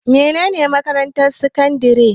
Mene ne makarantar sakandare?